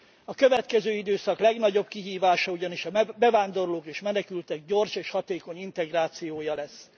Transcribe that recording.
A következő időszak legnagyobb kihívása ugyanis a bevándorlók és menekültek gyors és hatékony integrációja lesz.